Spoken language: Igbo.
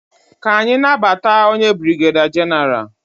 Ka anyị nabata onye brigeda genaralu.